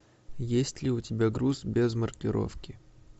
есть ли у тебя груз без маркировки